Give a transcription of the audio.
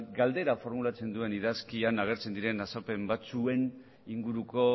galdera formulatzen duen idazkian agertzen diren azalpen batzuen inguruko